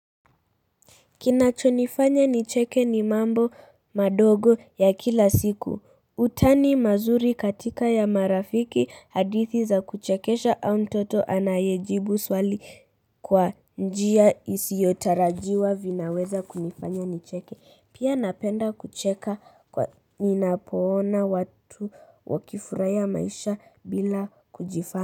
Kinachonifanya nicheke ni mambo madogo ya kila siku. Utani mazuri katika ya marafiki, hadithi za kuchekesha au mtoto anayejibu swali kwa njia isiyotarajiwa vinaweza kunifanya nicheke. Pia napenda kucheka kwa ninapoona watu wakifurahia maisha bila kujifanya.